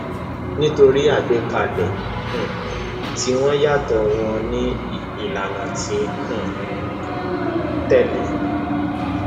nítorí àgbékalẹ um tiwọn yàtọ wọn ní ìlànà tí um wọn ń tẹlé